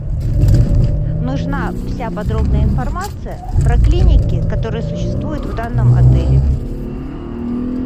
нужна вся подробная информация про клиники которые существуют в данном отеле